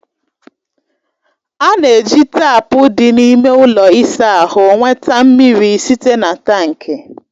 A na-eji taapu dị n'ime ụlọ ịsa ahụ nweta mmiri site na tankị